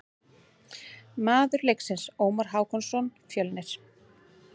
Maður leiksins: Ómar Hákonarson, Fjölnir.